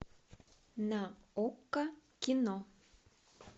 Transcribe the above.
на окко кино